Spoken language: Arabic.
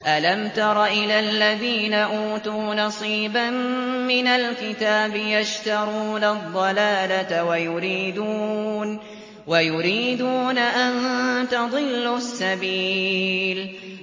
أَلَمْ تَرَ إِلَى الَّذِينَ أُوتُوا نَصِيبًا مِّنَ الْكِتَابِ يَشْتَرُونَ الضَّلَالَةَ وَيُرِيدُونَ أَن تَضِلُّوا السَّبِيلَ